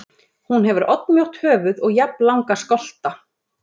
Hún hefur oddmjótt höfuð og jafnlanga skolta.